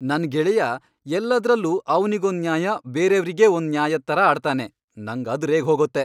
ನನ್ ಗೆಳೆಯ ಎಲ್ಲದ್ರಲ್ಲೂ ಅವ್ನಿಗೊಂದ್ ನ್ಯಾಯ ಬೇರೇವ್ರಿಗೇ ಒಂದ್ ನ್ಯಾಯದ್ ಥರ ಆಡ್ತಾನೆ, ನಂಗ್ ಅದ್ ರೇಗ್ಹೋಗತ್ತೆ.